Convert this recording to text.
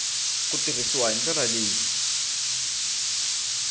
ku tirhisiwa hi ndlela leyi